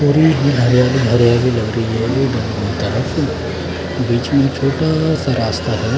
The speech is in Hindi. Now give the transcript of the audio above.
बीच में एक छोटा सा रास्ता है।